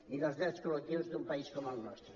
i dels drets col·lectius d’un país com el nostre